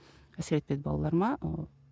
әсер етпеді балаларыма ы